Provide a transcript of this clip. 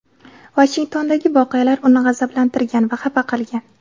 Vashingtondagi voqealar uni "g‘azablantirgan va xafa qilgan".